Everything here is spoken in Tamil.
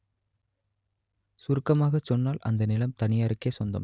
சுருக்கமாகச் சொன்னால் அந்த நிலம் தனியாருக்கே சொந்தம்